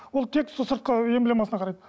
ол тек сол сыртқы эмблемасына қарайды